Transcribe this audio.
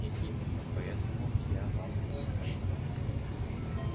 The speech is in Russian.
и именно поэтому я вам скажу